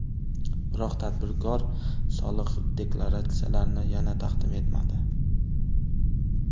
Biroq tadbirkor soliq deklaratsiyalarini yana taqdim etmadi.